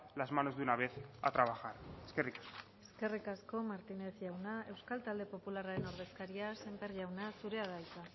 las manos de una vez a trabajar eskerrik asko eskerrik asko martínez jauna euskal talde popularraren ordezkaria semper jauna zurea da hitza